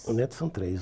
Os netos são três.